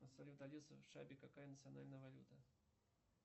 салют алиса в шабе какая национальная валюта